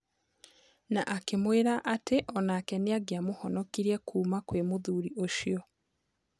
Na akĩmwĩra atĩ onake nĩangiamũhonokirie kuuma mwĩ mũthuri ũcio.